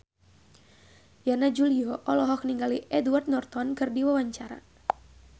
Yana Julio olohok ningali Edward Norton keur diwawancara